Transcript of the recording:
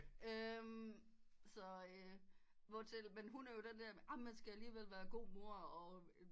Så hvor til men hun er jo den der man skal alligevel er god mor og